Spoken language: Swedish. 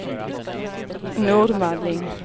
Nordmaling